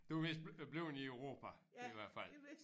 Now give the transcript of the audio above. Du er mest bleven i Europa i hvert fald